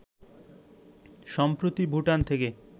সম্প্রতি ভুটান থেকে